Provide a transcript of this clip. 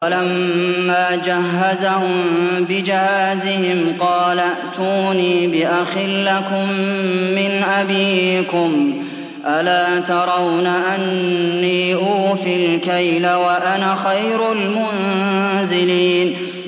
وَلَمَّا جَهَّزَهُم بِجَهَازِهِمْ قَالَ ائْتُونِي بِأَخٍ لَّكُم مِّنْ أَبِيكُمْ ۚ أَلَا تَرَوْنَ أَنِّي أُوفِي الْكَيْلَ وَأَنَا خَيْرُ الْمُنزِلِينَ